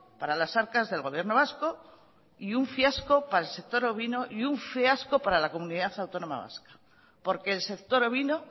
para las arcas del gobierno vasco y un fiasco para el sector ovino y un fiasco para la comunidad autónoma vasca porque el sector ovino